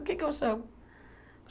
O que é que eu chamo?